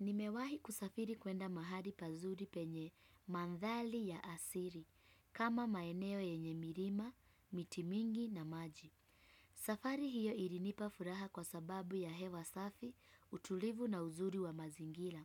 Nimewahi kusafiri kuenda mahali pazuri penye mandhari ya asili, kama maeneo yenye milima, miti mingi na maji. Safari hiyo ilinipa furaha kwa sababu ya hewa safi, utulivu na uzuri wa mazingira.